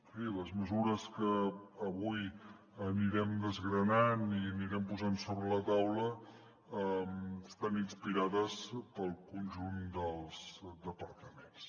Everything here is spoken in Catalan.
en fi les mesures que avui anirem desgranant i anirem posant sobre la taula estan inspirades pel conjunt dels departaments